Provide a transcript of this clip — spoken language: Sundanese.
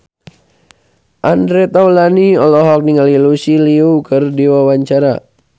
Andre Taulany olohok ningali Lucy Liu keur diwawancara